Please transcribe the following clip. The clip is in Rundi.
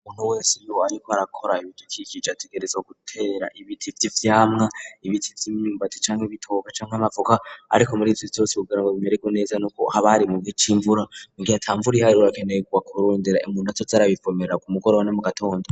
ubuntu wese ariko arakora ibidukikije ategerezowa gutera ibiti vy,ivyamwa ibiti vy'imyumbati canke ibitoke canke amavoka ariko muri ivyo vyose kugira ngo bimeregwe neza n'uko abari mugihe c,imvura atamvura harakeneyegwa kurundera imuntu azoza arabivomera ku mugoroba no mu gitondo